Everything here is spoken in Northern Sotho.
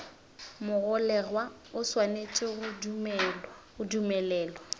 mogolegwa o swanetše go dumelelwa